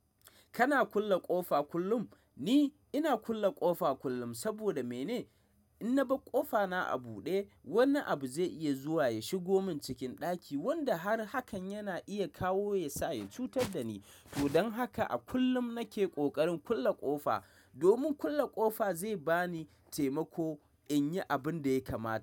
Kana kulle ƙofa kullum? Ni ina kulle ƙofa kullum. Saboda mene? In na bar ƙofa na a buɗe, wani abu zai iya zuwa ya shigo min cikin ɗaki wanda har hakan yana iya kawo ya sa ya cutar da ni. Don haka a kullum nake ƙoƙarin kulle ƙofa, domin kulle ƙofa zai ba ni taimako in yi abin da ya kamata.